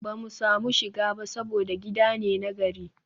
ba mu samu shiga ba saboda gida ne na gari